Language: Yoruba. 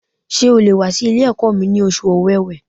Ṣé o le wà sí Ilé ẹ̀kọ́ mi ní oṣù Ọ̀wẹ̀wẹ̀